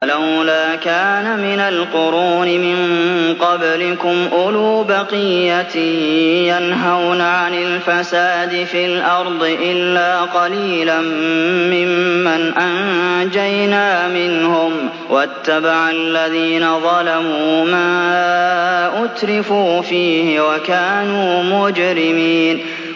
فَلَوْلَا كَانَ مِنَ الْقُرُونِ مِن قَبْلِكُمْ أُولُو بَقِيَّةٍ يَنْهَوْنَ عَنِ الْفَسَادِ فِي الْأَرْضِ إِلَّا قَلِيلًا مِّمَّنْ أَنجَيْنَا مِنْهُمْ ۗ وَاتَّبَعَ الَّذِينَ ظَلَمُوا مَا أُتْرِفُوا فِيهِ وَكَانُوا مُجْرِمِينَ